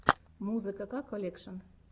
музыка ка колекшн